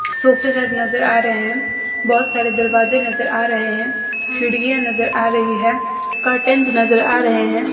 सोफे सेट नजर आ रहे हैं बहोत सारे दरवाजे नजर आ रहे हैं खिड़कियां नजर आ रही है कर्टनस नजर आ रहे हैं।